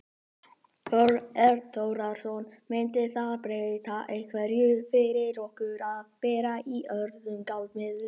Þorbjörn Þórðarson: Myndi það breyta einhverju fyrir okkur að vera í öðrum gjaldmiðli?